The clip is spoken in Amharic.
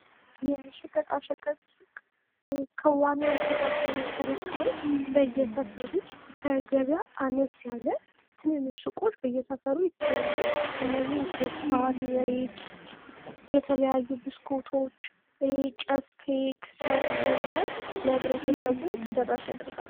የሸቀጣሸቀጥ ሱቅ ከዋናዉ ከአከፋፋዮች ተረክበዉ በየሰፈሩ ከገበያ አነስ ያለ ትንንሽ ሱቆች በየሰፈሩ ይታያሉ። እነዚህም ስኳር፣ ዘይት፣ የተለያዩ ብስኩቶች፣ ጨፌ ከሰል በመያዝ ለህብረተሰቡ ተደራሽ ያደርጋሉ።